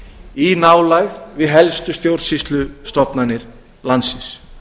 í nálægð við helstu stjórnsýslustofnanir landsins